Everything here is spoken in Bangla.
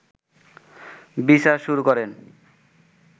বিচার শুরু করেন